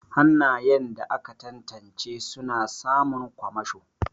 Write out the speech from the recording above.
Hannayen da aka tantance suna samun kwamasho.